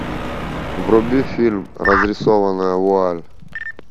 вруби фильм разрисованная вуаль